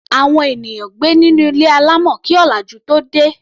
Àwọn ènìyàn gbé nínú ilé alámọ̀ kí ọ̀làjú tóo dé.